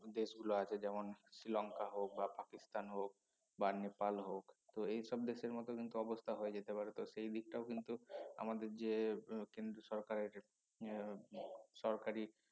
দেশগুলো আছে যেমন শ্রীলঙ্কা হোক বা পাকিস্তান হোক বা নেপাল হোক তো এইসব দেশের মত কিন্তু অবস্থা হয়ে যেতে পারে তো সেই দিকটাও কিন্তু আমাদের যে আহ কেন্দ্রীয় সরকার আছে এর সরকারি